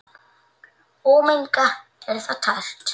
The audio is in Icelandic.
Ómengað er það tært.